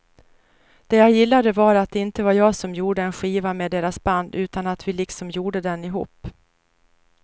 Det jag gillade var att det inte var jag som gjorde en skiva med deras band utan att vi liksom gjorde den ihop.